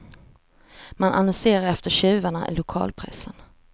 Man annonserar efter tjuvarna i lokalpressen.